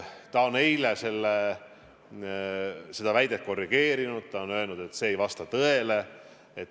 Ta on eile seda väidet korrigeerinud ja öelnud, et see ei vasta tõele.